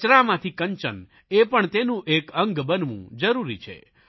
કચરામાંથી કંચન એ પણ તેનું એક અંગ બનવું જરૂરી છે